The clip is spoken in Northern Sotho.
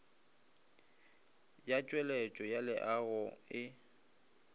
ya tšweletšo ya leago e